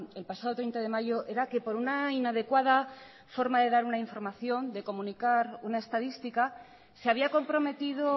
el pasado treinta de mayo era que por una inadecuada forma de dar una información de comunicar una estadística se había comprometido